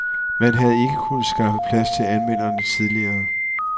Man havde ikke kunnet skaffe plads til anmelderne tidligere.